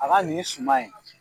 A ka nin suman in